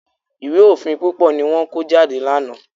Ìwé òfin púpọ̀ ni wọ́n kó jáde lánàá.